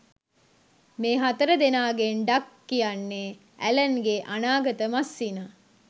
මේ හතරදෙනාගෙන් ඩග් කියන්නේ ඇලන්ගේ අනාගත මස්සිනා